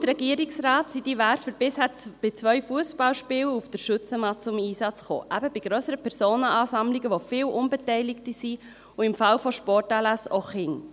Laut Regierungsrat kamen diese Werfer bisher nach zwei Fussballspielen auf der Schützenmatt zum Einsatz, eben bei grösseren Personenansammlungen, bei denen es viele Unbeteiligte gab und, im Falle von Sportanlässen, auch Kinder.